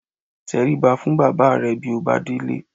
Tẹrí ba fún bàbá rẹ bí ó bá délé